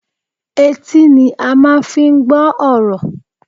Etí ni a máa fi ń gbọ́ ọ̀rọ̀